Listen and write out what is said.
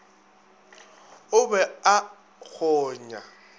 o be a a kgonya